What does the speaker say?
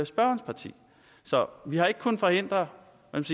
spørgerens parti så vi har ikke kunnet forhindre